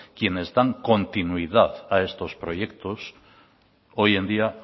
quienes dan continuidad a estos proyectos hoy en día